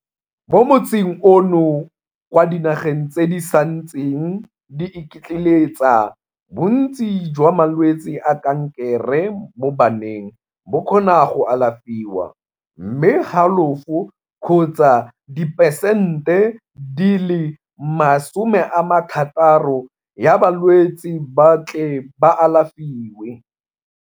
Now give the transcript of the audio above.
Mo motsing ono, kwa dinageng tse di santseng di iketleletsa, bontsi jwa malwetse a kankere mo baneng bo kgona go alafiwa, mme halofo kgotsa diperesente 60 ya balwetse ba tle ba alafiwe.